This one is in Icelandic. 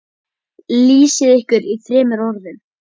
Lýsið ykkur í þremur orðum.